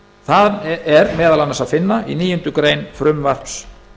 það er meðal annars að finna í níundu greinar frumvarps